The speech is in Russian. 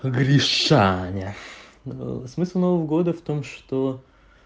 гришаня смысл нового года в том что